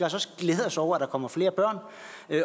også glæde os over at der kommer flere børn